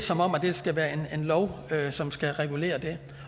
som om at det skal være en lov som skal regulere det